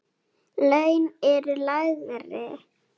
Laun eru lægri.